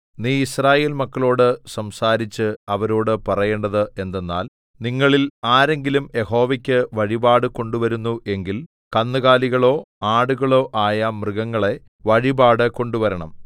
നീ യിസ്രായേൽ മക്കളോടു സംസാരിച്ച് അവരോടു പറയേണ്ടത് എന്തെന്നാൽ നിങ്ങളിൽ ആരെങ്കിലും യഹോവയ്ക്കു വഴിപാട് കൊണ്ടുവരുന്നു എങ്കിൽ കന്നുകാലികളോ ആടുകളോ ആയ മൃഗങ്ങളെ വഴിപാട് കൊണ്ടുവരണം